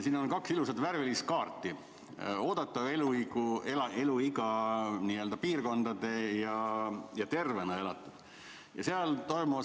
Siin on kaks ilusat värvilist kaarti: oodatav eluiga piirkondade järgi ja tervena elatud.